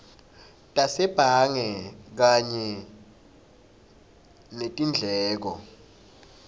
tasebhange kanye netindleko